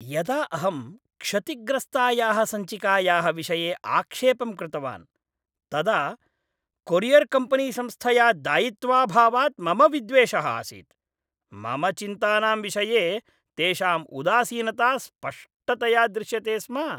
यदा अहं क्षतिग्रस्तायाः सञ्चिकायाः विषये आक्षेपं कृतवान् तदा कोरियर्कम्पनीसंस्थया दायित्वाभावात् मम विद्वेषः आसीत्। मम चिन्तानां विषये तेषां उदासीनता स्पष्टतया दृश्यते स्म।